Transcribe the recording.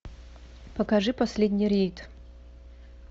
покажи последний рейд